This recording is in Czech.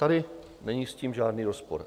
Tady s tím není žádný rozpor.